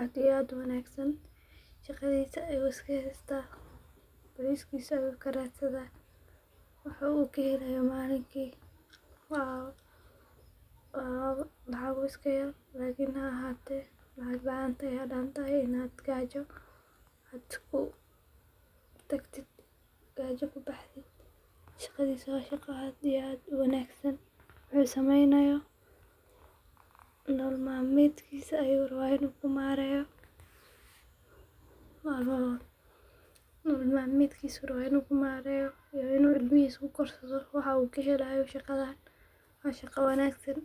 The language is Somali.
aad iyo aad u wanagsan, shaqadhisa ayuu iska haysta bariskiisa ayuu ka radsadha wuxuu kahelayo malinkii waa lacago iska yar hawo ahatee lacag laan way danta ama intii gaajo ku tagtidh, shaqadhisa waa mid aad iyo aad u wanagsan wuxuu sameynayo nolol mal medkiisa ayuu rawa in uu ku maareyo iyo in uu ilmihisa ku korsadho wuxuu ka helayo shaqadhan.